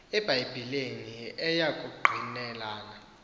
ebhayibhileni eya kungqinelana